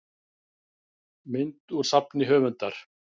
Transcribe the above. mynd úr safni höfundar